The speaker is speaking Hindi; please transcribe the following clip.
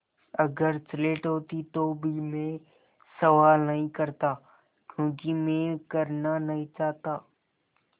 अगर स्लेट होती तो भी मैं सवाल नहीं करता क्योंकि मैं करना नहीं चाहता